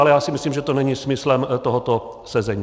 Ale já si myslím, že to není smyslem tohoto sezení.